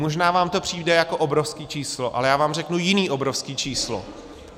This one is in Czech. Možná vám to přijde jako obrovské číslo, ale já vám řeknu jiné obrovské číslo.